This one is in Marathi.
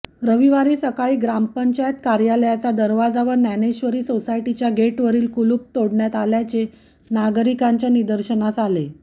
रविवारी सकाळी ग्रामपंचायत कार्यालयाचा दरवाजा व ज्ञानेश्वरी सोसायटीच्या गेटवरील कुलूप तोडण्यात आल्याचे नागरिकांच्या निदर्शनास आले